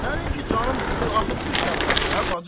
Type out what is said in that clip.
Sənin ki canın budur, axı düz tərpəş də, bacı!